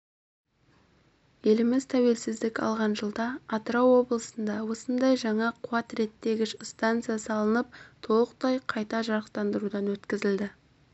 еліміз тәуелсіздік алған жылда атырау облысында осындай жаңа қуат реттегіш станса салынып толықтай қайта жарақтандырудан өткізілді